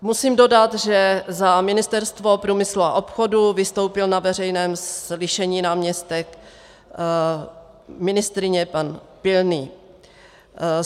Musím dodat, že za Ministerstvo průmyslu a obchodu vystoupil na veřejném slyšení náměstek ministryně pan Pilný.